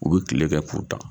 U bi kile kɛ k'o tan